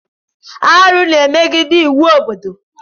Arụ na-emegide iwu obodo.